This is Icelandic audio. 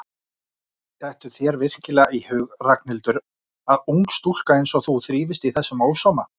Dettur þér virkilega í hug Ragnhildur að ung stúlka einsog þú þrífist í þessum ósóma?